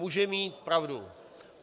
Může mít pravdu.